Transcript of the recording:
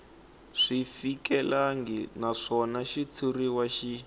swi fikelelangi naswona xitshuriwa xi